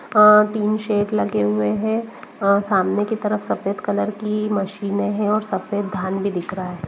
वाह तीन सेट लगे हुए हैऔर सामने की तरफ सफेद कलर की मशीनों है और सफेद धान भी दिख रहा है।